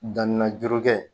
Danni na juru kɛ